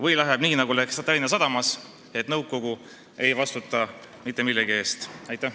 Või läheb nii, nagu läks Tallinna Sadama puhul, et nõukogu ei vastuta mitte millegi eest?